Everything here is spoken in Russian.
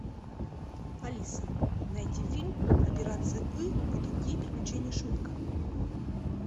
алиса найди фильм операция ы и другие приключения шурика